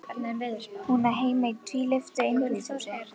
Hún á heima í tvílyftu einbýlishúsi.